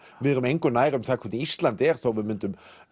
við erum engu nær um það hvernig Ísland er þó við myndum